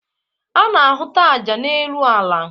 A na-ahụta aja n'elu ala.